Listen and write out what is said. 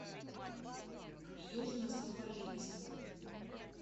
южно сахалинск